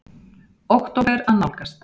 Október að nálgast.